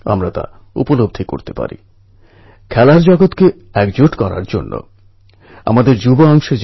সময় মতো উদ্ধার না করা গেলে মনসুনএর কারণে কয়েক মাস ওদের বার করে নিয়ে আসা সম্ভব হত না